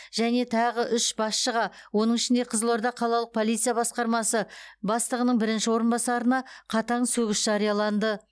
және тағы үш басшыға оның ішінде қызылорда қалалық полиция басқармасы бастығының бірінші орынбасарына қатаң сөгіс жарияланды